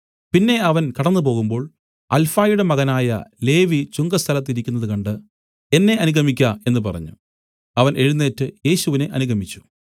പിന്നെ അവൻ കടന്നുപോകുമ്പോൾ അല്ഫായിയുടെ മകനായ ലേവി ചുങ്കസ്ഥലത്ത് ഇരിക്കുന്നത് കണ്ട് എന്നെ അനുഗമിക്ക എന്നു പറഞ്ഞു അവൻ എഴുന്നേറ്റ് യേശുവിനെ അനുഗമിച്ചു